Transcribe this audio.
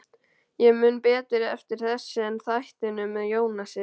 Ég man betur eftir þessu en þættinum með Jónasi.